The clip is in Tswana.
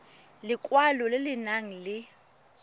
lekwalo le le nang le